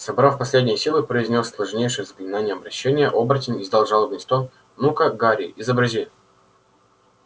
собрав последние силы произнёс сложнейшее заклинание обращения оборотень издал жалобный стон ну-ка гарри изобрази